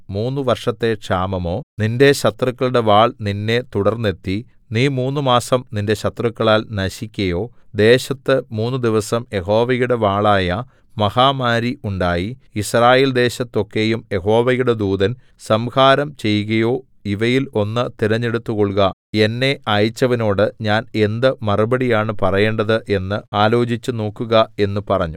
മൂന്നു വർഷത്തെ ക്ഷാമമോ നിന്റെ ശത്രുക്കളുടെ വാൾ നിന്നെ തുടർന്നെത്തി നീ മൂന്നുമാസം നിന്റെ ശത്രുക്കളാൽ നശിക്കയോ ദേശത്ത് മൂന്നുദിവസം യഹോവയുടെ വാളായ മാഹാമാരി ഉണ്ടായി യിസ്രായേൽദേശത്തൊക്കെയും യഹോവയുടെ ദൂതൻ സംഹാരം ചെയ്കയോ ഇവയിൽ ഒന്ന് തിരഞ്ഞെടുത്തുകൊൾക എന്നെ അയച്ചവനോടു ഞാൻ എന്ത് മറുപടിയാണ് പറയേണ്ടത് എന്നു ആലോചിച്ചുനോക്കുക എന്നു പറഞ്ഞു